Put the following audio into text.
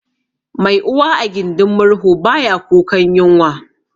Mai uwa a gindin murhu baya kukan yunwa